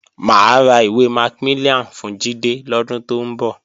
Mà á ra ìwé Macmillian fún Jídé lọ́dún tó ń bọ̀